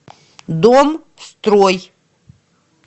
дом строй